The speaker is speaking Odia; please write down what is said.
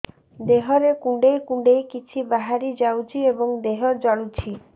ଦେହରେ କୁଣ୍ଡେଇ କୁଣ୍ଡେଇ କିଛି ବାହାରି ଯାଉଛି ଏବଂ ଦେହ ଜଳୁଛି